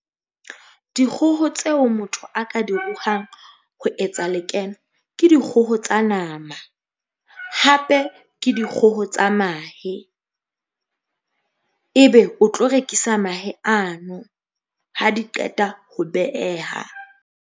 Dikgoho tseo motho a ka di ruhang ho etsa lekeno ke dikgoho tsa nama, hape ke dikgoho tsa mahe. Ebe o tlo rekisa mahe ano. Ha di qeta ho beeha.